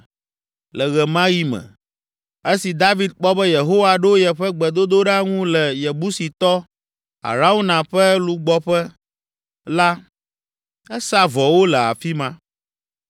Le ɣe ma ɣi me, esi David kpɔ be Yehowa ɖo yeƒe gbedodoɖa ŋu le Yebusitɔ, Arauna ƒe lugbɔƒea la, esa vɔwo le afi ma.